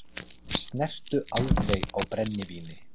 Snertu aldrei á brennivíni!